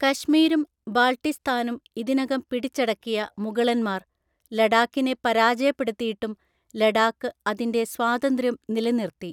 കശ്മീരും ബാൾട്ടിസ്ഥാനും ഇതിനകം പിടിച്ചടക്കിയ മുഗളന്മാർ ലഡാക്കിനെ പരാജയപ്പെടുത്തിയിട്ടും ലഡാക്ക് അതിന്റെ സ്വാതന്ത്ര്യം നിലനിർത്തി.